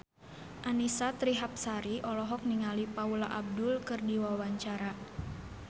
Annisa Trihapsari olohok ningali Paula Abdul keur diwawancara